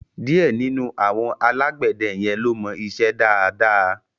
Díẹ̀ nínú àwọn alágbẹ̀dẹ yẹn ló mọ iṣẹ́ dáadáa.